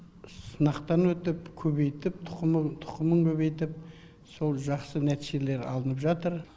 сынақтан өтіп көбейтіп тұқымы тұқымын көбейтіп сол жақсы нәтижелер алынып жатыр